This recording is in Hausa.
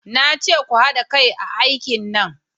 Na ce ku hada kai a aikin nan!